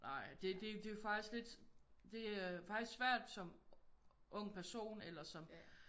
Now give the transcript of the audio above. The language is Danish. Nej det det er jo faktisk lidt det faktisk svært som ung person eller som